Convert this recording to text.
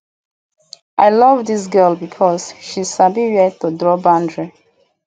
i love dis girl because she sabi where to draw di boundary